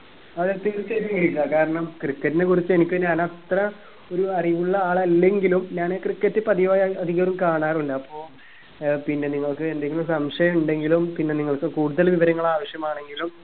ആ തീർച്ചയായിട്ടും വിളിക്ക കാരണം cricket നെ കുറിച്ച് എനിക്ക് ഞാൻ അത്ര ഒരു അറിവുള്ള ആളില്ലെങ്കിലും ഞാൻ cricket പതിവായി അധികവും കാണാറ് ഇല്ല അപ്പൊ ഏർ പിന്നെ നിങ്ങക്ക് എന്തെങ്കിലും സംശയം ഉണ്ടെങ്കിലും പിന്നെ നിങ്ങൾക്ക് കൂടുതൽ വിവരങ്ങൾ ആവശ്യമാണെങ്കിലും